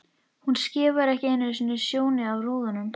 Hún skefur ekki einu sinni snjóinn af rúðunum!